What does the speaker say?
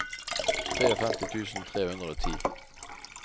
femtitre tusen tre hundre og ti